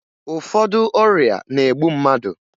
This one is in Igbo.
Ụfọdụ ọrịa na-egbu mmadụ